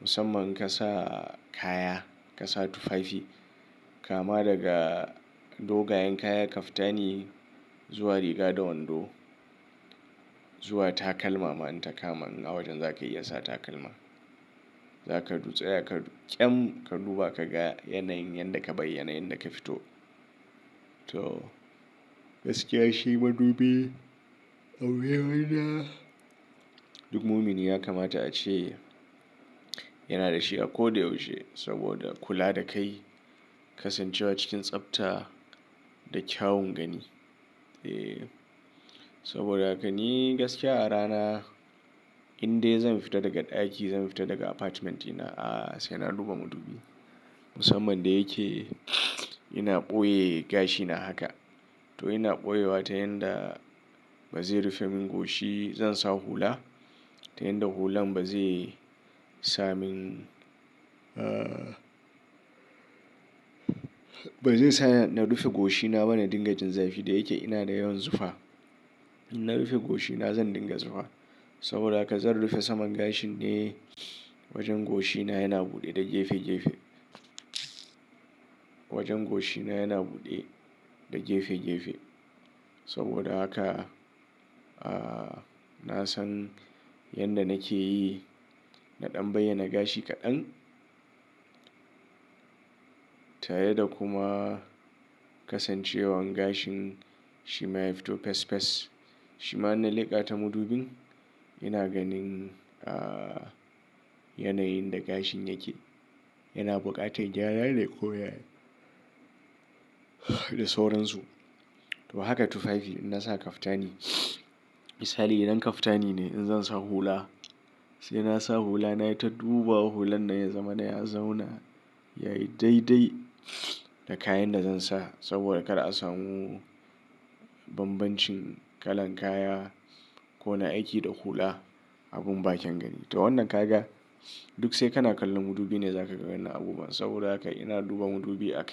Musamman in ka sa kaya, ka sa tufafi kama daga dogayen kaya kaftani zuwa riga da wando zuwa takalma ma in ka kama a wajen zakayi iya sa takalma. Zaka dutse kar ƙyam ka duba ka ga yanayin yanda ka bai yanayin da ka fito. To gaskiya shi madubi aure wanda duk mumin ya kamata ya ce yana da shi a ko da yaushe saboda kula da kai, kasancewa cikin tsafta da kyawun gani. Eh saboda haka ni gaskiya a rana indai zan fita daga ɗaki zan fita daga apartment dina a sai na duba madubi. Musamman da yake ina ɓoye gashina haka. To ina ɓoye wa ta yanda ba zai rufe min goshi zan sa hula. Ta yanda hulan ba zai sa min ah ba zai sa na rufe goshina ba na dinga jin zafi da yake ina da yawan zufa. In na rufe goshina zan dinga zufa. Saboda haka zan rufe saman gashin ne wajen goshina yana buɗe da gefe gefe. Wajen goshina yana buɗe da gefe gefe. Saboda haka a nasan yanda nake yi na ɗan baya na gashi kaɗan. Tare da kuma kasancewar gashin shi ma ya fito fes fes. Shi ma in na leƙa ta madubin ina ganin a yanayin da gashin yake yana buƙatar gyara dai ko da sauransu. To haka tufafi in na sa kaftani misali idan kaftani ne in zan sa hula sai na sa hula na ya ta duba hulan na ya zama na ya zauna yayi dai dai da kayan da zan sa saboda kar a samu bambancin kalan kaya, ko na aiki da hula abin bakin gani. To wannan ka ga duk sai kana kallon madubi ne zaka gani abubuwan saboda haka ina duba madubi a kan.